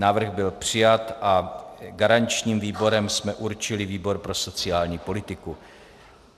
Návrh byl přijat a garančním výborem jsme určili výbor pro sociální politiku.